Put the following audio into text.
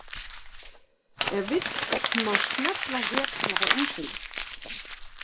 Ef vill má smella hér til að fá undirleik.